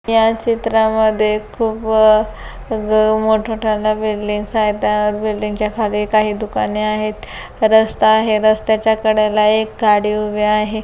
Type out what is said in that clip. या चित्रामध्ये खूप अ मोठ मोठाल्या बिल्डिंगस आहेत त्या बिल्डिंगच्या खाली काही दुकाने आहेत रस्ता आहे रस्त्याच्याकडेला एक गाडी उभा आहे.